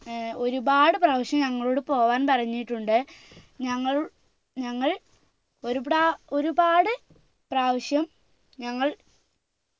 ഏർ ഒരുപാട് പ്രാവശ്യം ഞങ്ങളോട് പോവാൻ പറഞ്ഞിട്ടുണ്ട് ഞങ്ങളു ഞങ്ങൾ ഒരു പ്രാ ഒരുപാട് പ്രാവശ്യം ഞങ്ങൾ